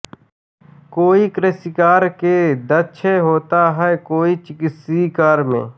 कोई कृषिकार्य में दक्ष होता है कोई चिकित्सीय कार्य में